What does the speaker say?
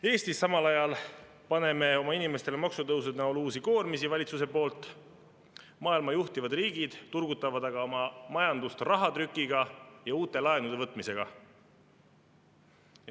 Eestis paneb valitsus oma inimestele maksutõusude näol uusi koormisi, maailma juhtivad riigid aga turgutavad oma majandust rahatrüki ja uute laenude võtmisega.